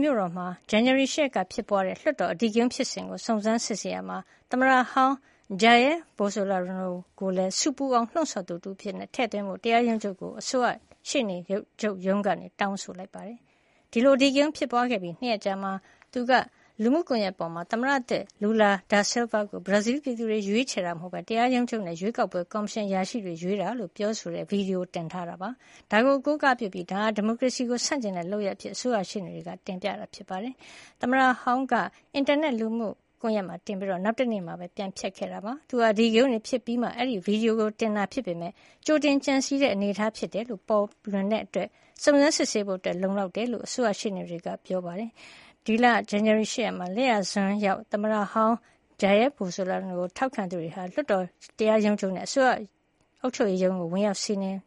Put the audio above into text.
မြို့တော် မှာ ဇန်နဝါရီလ ၈ ရက်နေ့က လွှတ်တော် အဓိကရုန်းဖြစ်စဉ်ကို စုံစမ်းစစ်ဆေးတဲ့အခါ သမ္မတဟောင်း Jair Bolsonaro ကိုလည်း ဆူပူအောင် လှုံဆော်ပေးသူတဦးအဖြစ် ထဲ့သွင်းထားဖို့ တရားရုံးချုပ်ကို အစိုးရ ရှေ့နေချုပ်ရုံး က တောင်းဆိုလိုက်ပါတယ်။ အဲဒီလို အဓိကရုန်းတွေ ဖြစ်ပွားခဲ့ပြီး ၂ရက်အကြာမှာ Bolsonaro ကနေ Social Media လူမှုကွန်ယက် ပေါ်မှာ သမ္မတသစ် Lula da Silva ကို ဘရာဇီး ပြည်သူတွေက ရွေးချယ်ကြတာမဟုတ်ပဲ အဲဒီအစား တရားရုံးချုပ် နဲ့ ရွေးကောက်ပွဲ ကော်မရှင်အရာရှိတွေကသာ ရွေးချယ်ကြတာဖြစ်တယ်လို့ ပြောဆိုတဲ့ ဗွီဒီယိုတင်ထားပါတယ်။ အဲဒါကို အကိုးအကားပြုပြီး ဒါဟာ ဒီမိုကရေစီကို ဆန့်ကျင်တဲ့ လုပ်ရပ်အဖြစ် အစိုးရရှေ့နေတွေ တင်ပြကြပါတယ်။ သမ္မတဟောင်း Bolsonaro ကလည်း အဲဒီလို အင်တာနက် လူမှုကွန်ယက် Social မှာတင်ပြီး နောက်တနေ့ မှာပဲ ပြန်ဖျက်လိုက်ပါတယ်။ သူအနေနဲ့ အဓိကရုန်းတွေ ဖြစ်ပြီးမှ အဲဒီ ဗွီဒီယို ကို တင်ခဲ့ပေမယ့်လည်း ကြိုတင်ကြံစည်ခဲ့တဲ့ အနေအထားဖြစ်တယ်ဆိုတာ ပေါ်လွင်တဲ့အတွက် စုံစမ်းစစ်ဆေးဖို့ လုံလောက်တယ်လို့ အစိုးရရှေ့နေတွေက စောဒက တက်ကြပါတယ်။ ဒီလ ဇန်နဝါရီ ၈ ရက်နေ့က လက်ယျာစွန်းရောက် သမ္မတဟောင်း Jair Bolsonaro ကို ထောက်ခံကြသူတွေဟာ လွှတ်တော် ၊ တရားရုံးချုပ် နဲ့ အစိုးရ အုပ်ချုပ်ရေးရုံး တို့ကို ဝင်ရောက် စီးနင်